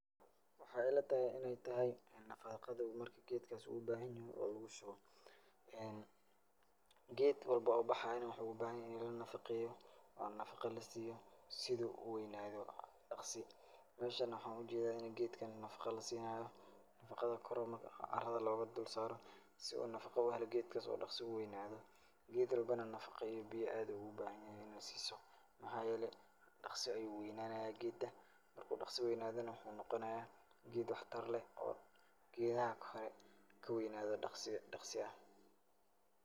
Waxaay ila tahay in ay tahay nafaqada marka geedkaas uu baahanyahay oo lugu shubo. Geed walba uu bahaayana waxuu u baahanyahay in la nafaqeeyo oo nafaqa la siiyo sidu u weynaado dakhsi. Meeshan waxaan u jeedaa geedkan in nafaqo la siinaayo. Nafaqada kor marka arada loogu dul saaro si uu nafaqo u helo geedkas oo dakhsi u weynaado. Geed walbana nafaqo iyo biyo ayuu aad ugu baahanyahay in aad siiso. Maxaa yeelay, dhakhsi ayuu weynaanayaa geeda. Marka uu dhakhsi weynaadana waxuu noqonayaa geed wax tar leh oo geedaha ka hore ka weynaado dhakhsi.